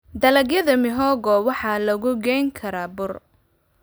Dalagyada mihogo waxaa lagu geyn karaa bur.